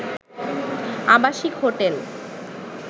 আবাসিক হোটেল